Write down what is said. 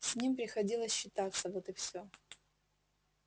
с ним приходилось считаться вот и все